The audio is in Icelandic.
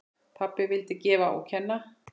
Pabbi vildi gefa og kenna.